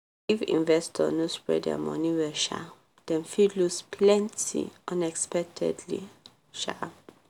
if investor no spread their money well um dem fit lose plenty unexpectedly. um